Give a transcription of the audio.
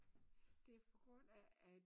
Det er på grund af at